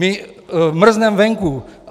My mrzneme venku.